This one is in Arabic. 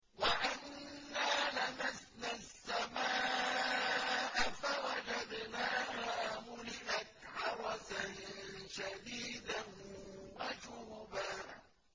وَأَنَّا لَمَسْنَا السَّمَاءَ فَوَجَدْنَاهَا مُلِئَتْ حَرَسًا شَدِيدًا وَشُهُبًا